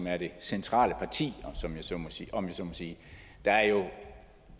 er det centrale parti om jeg så må sige